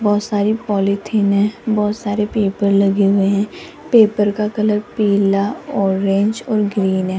बहोत सारी पॉलीथिन है बहोत सारे पेपर लगे हुए हैं पेपर का कलर पीला ऑरेंज और ग्रीन है।